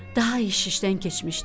Daha iş işdən keçmişdi.